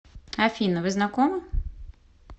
афина вы знакомы